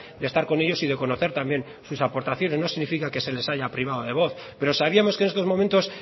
de estar con ellos y de conocer también sus aportaciones no significa que se les haya privado de voz pero sabíamos que en estos momentos